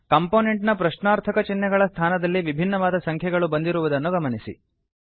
component ನ ಪ್ರಶ್ನಾರ್ಥಕ ಚಿಹ್ನೆಗಳ ಸ್ಥಾನದಲ್ಲಿ ವಿಭಿನ್ನವಾದ ಸಂಖ್ಯೆಗಳು ಬಂದಿರುವುದನ್ನು ಗಮನಿಸಿ